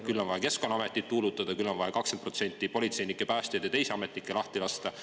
Küll on vaja Keskkonnaametit tuulutada, küll on vaja 20% politseinikke, päästjaid ja teisi ametnikke lahti lasta.